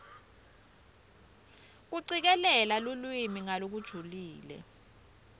kucikelela lulwimi ngalokujulile